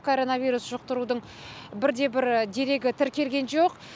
коронавирус жұқтырудың бірде бір дерегі тіркелген жоқ